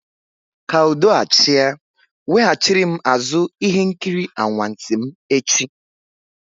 Kaa udo achị a, weghachiri m azụ ihe nkiri anwansi m echi!